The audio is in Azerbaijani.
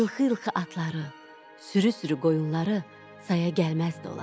İlxı-ılxı atları, sürü-sürü qoyunları saya gəlməzdi onların.